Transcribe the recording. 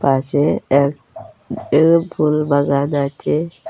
পাশে এক এল ফুল বাগান আছে।